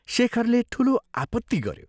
शेखरले ठूलो आपत्ति गऱ्यो।